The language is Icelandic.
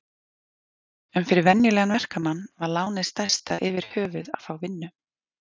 En fyrir venjulegan verkamann var lánið stærsta yfirhöfuð að fá vinnu.